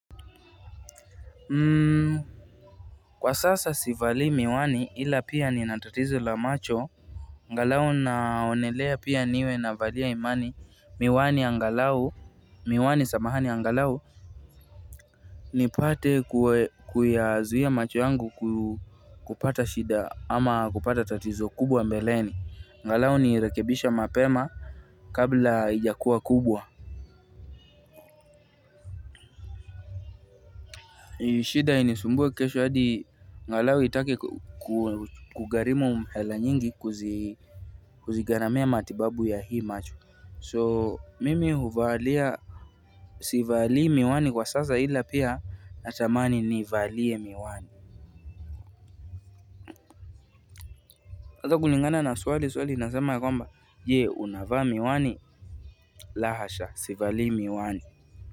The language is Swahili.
Kwa sasa sivali miwani ila pia ni natatizo la macho angalau naonelea pia niwe na valia imani miwani ya ngalau, miwani samahani angalau, ni pate kuyazuhia macho yangu kupata shida ama kupata tatizo kubwa mbeleni angalau nirekebishe mapema kabla ijakuwa kubwa shida inisumbwe kesho hadi angalau itake kugarimu hela nyingi kuzi kuzigharamia matibabu ya hii macho. So mimi huvalia. Sivali miwani kwa sasa ila pia na tamani ni valie miwani ata kulingana na swali, swali ina sema ya kwamba, je, unava miwani? La hasha sivali miwani.